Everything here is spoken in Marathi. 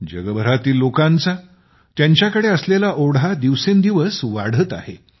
जगभरातील लोकांचा त्यांच्याकडे असलेला ओढा दिवसेंदिवस वाढत आहे